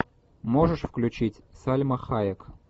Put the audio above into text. можешь включить сальма хайек